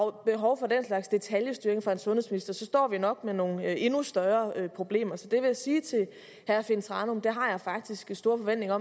er behov for den slags detailstyring fra en sundhedsminister så står vi nok med nogle endnu større problemer så jeg vil sige til herre finn thranum at det har jeg faktisk store forventninger